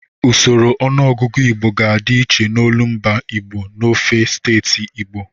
Usoro ọnụọgụgụ Igbo ga-adị iche n'olumba Igbo n'ofe steeti Igbo.